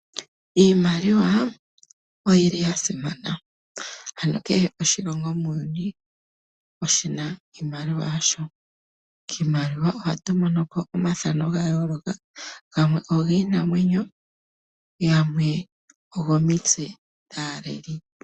Iimaliwa oya simana. Kehe oshilongo muuyuni oshina iimaliwa yasho. Kiimaliwa ohatu monoko omathano ga yooloka gamwe ogiinamwenyo gamwe ogomotse dhaaleli.